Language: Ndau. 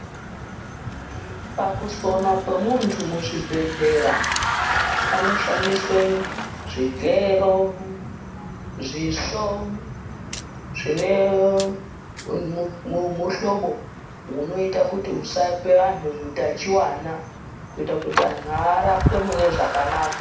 Pakusonwa kwemunthu muzvibhedhlera panoshandiswe zvigero, zvisvo zvine muhlobo unoita kuti usape anthu utachiwana. Kuita kuti anthu arapwe mune zvakanaka.